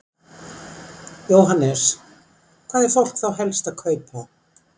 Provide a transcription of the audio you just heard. Jóhannes: Hvað er fólk þá helst að kaupa?